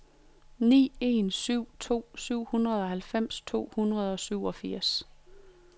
ni en syv to syvoghalvfems to hundrede og syvogfirs